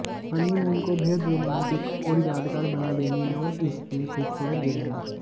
honeymoon को बेहद romantic और यादगार बना देंगी नॉर्थ ईस्ट की ये खूबसूरत जगहें